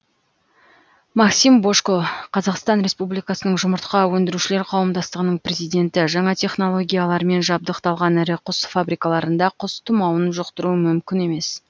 максим божко қазақстан республикасының жұмыртқа өндірушілер қауымдастығының президенті жаңа технологиялармен жабдықталған ірі құс фабрикаларында құс тұмауын жұқтыру мүмкін емес